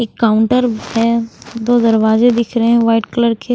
एक काउंटर है दो दरवाजे दिख रहे हैं व्हाइट कलर के।